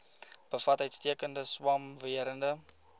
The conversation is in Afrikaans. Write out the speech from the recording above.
bevat uitstekende swamwerende